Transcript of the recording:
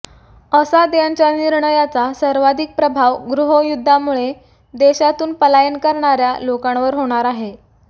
असाद यांच्या निर्णयाचा सर्वाधिक प्रभाव गृहयुद्धामुळे देशातून पलायन करणाऱया लोकांवर होणार आहे